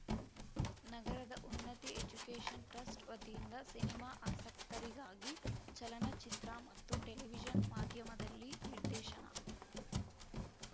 ನಗರದ Unnati education trust ವತಿಯಿಂದ cinema ಆಸಕ್ತರಿಗಾಗಿ ಚಲನಚಿತ್ರ ಮತ್ತು ಟೆಲಿವಿಷನ್‌ ಮಾಧ್ಯಮದಲ್ಲಿ ನಿರ್ದೇಶನ